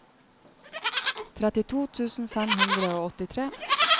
trettito tusen fem hundre og åttitre